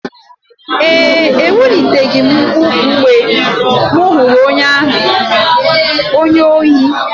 Ee, eweliteghị m mkpu mgbe m hụrụ onye ohi.